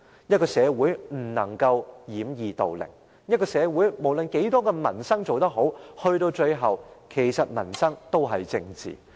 一個社會不能掩耳盜鈴，一個社會不論有多少民生事項做得好，最終民生都是政治。